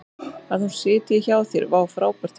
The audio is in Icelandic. Að hún sitji hjá þér?